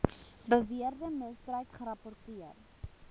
beweerde misbruik gerapporteer